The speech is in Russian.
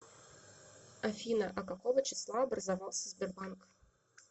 афина а какого числа образовался сбербанк